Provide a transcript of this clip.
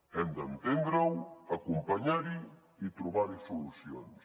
hem d’entendre ho acompanyar ho i trobar hi solucions